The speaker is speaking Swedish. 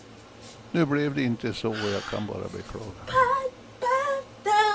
Nu blev det inte så, och jag kan bara beklaga.